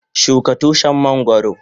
Shuka Tushin mangoro.